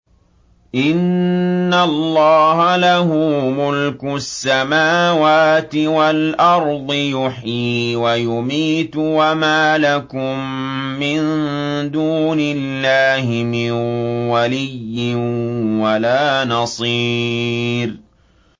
إِنَّ اللَّهَ لَهُ مُلْكُ السَّمَاوَاتِ وَالْأَرْضِ ۖ يُحْيِي وَيُمِيتُ ۚ وَمَا لَكُم مِّن دُونِ اللَّهِ مِن وَلِيٍّ وَلَا نَصِيرٍ